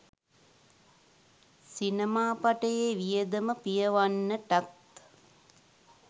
සිනමා පටයේ වියදම පියවන්නටත්